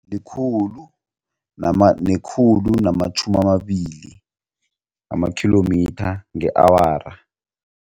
Likhulu khulu nekhulu namatjhumi amabili amakhilomitha nge-awara.